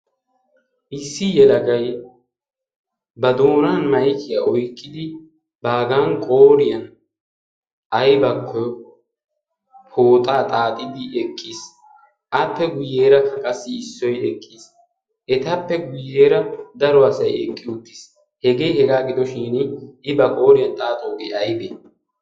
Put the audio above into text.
Issi yelagai ba doonan maikiyaa oiqqidi baagan qooriyan aibakko pooxaa xaaxidi eqqiis appe guyyeera aqassi issoi eqqiis etappe guyyeera daro asai eqqi uttiis hegee hegaa gidoshin i ba kooriyan xaaxoogee aibee?